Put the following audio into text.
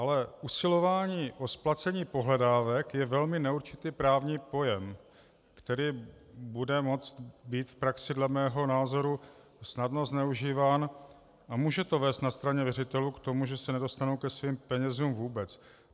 Ale usilování o splacení pohledávek je velmi neurčitý právní pojem, který bude moct být v praxi dle mého názoru snadno zneužíván, a může to vést na straně věřitelů k tomu, že se nedostanou ke svým penězům vůbec.